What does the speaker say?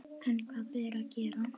En hvað ber að gera?